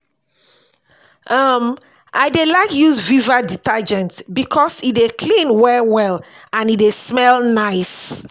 um I dey like use viva detergent bikos e dey clean well well and e dey smell nice